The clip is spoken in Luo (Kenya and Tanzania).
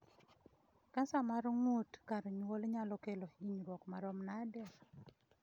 Cancer mar ng'ut kar nyuol nyalo kelo hinyruok ma rom nade?